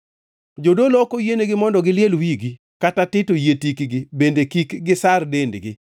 “ ‘Jodolo ok oyienegi mondo giliel wigi, kata tito yie tikgi bende kik gisar dendgi.